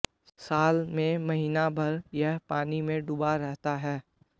साल में महीना भर यह पानी में डूबा रहता है